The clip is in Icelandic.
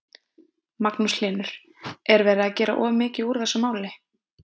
Magnús Hlynur: Er verið að gera of mikið úr þessu máli?